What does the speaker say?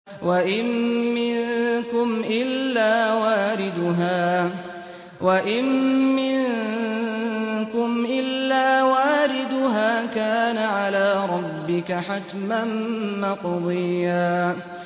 وَإِن مِّنكُمْ إِلَّا وَارِدُهَا ۚ كَانَ عَلَىٰ رَبِّكَ حَتْمًا مَّقْضِيًّا